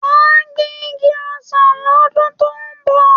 Mà á gbin igi ọsàn lọ́dún tó ń bọ̀